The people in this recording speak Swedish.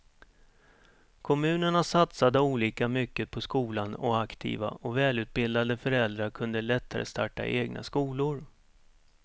Kommunerna satsade olika mycket på skolan och aktiva och välutbildade föräldrar kunde lättare starta egna skolor.